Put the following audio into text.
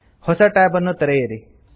ಹೊಸ ಟ್ಯಾಬ್ ಅನ್ನು ತೆಗೆಯಿರಿ